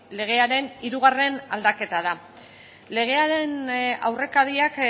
legearen hirugarren aldaketa da legearen aurrekariak